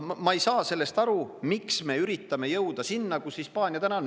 Ma ei saa sellest aru, miks me üritame jõuda sinna, kus Hispaania täna on.